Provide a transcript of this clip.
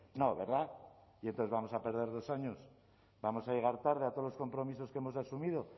no verdad y entonces vamos a perder dos años vamos a llegar tarde a todos los compromisos que hemos asumido